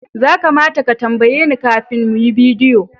Za kamata ka tambaye ni kafin mu yi bidiyo